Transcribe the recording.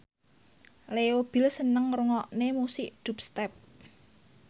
Leo Bill seneng ngrungokne musik dubstep